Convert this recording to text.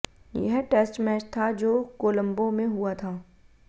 यह test match था जो कोलंबो में हुआ था